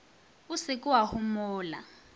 o se ke wa homola